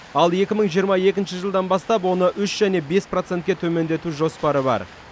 ал екі мың жиырма екінші жылдан бастап оны үш және бес процентке төмендету жоспары бар